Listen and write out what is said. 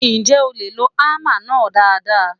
Ǹjẹ́ o lè lo hámà náà dáadáa?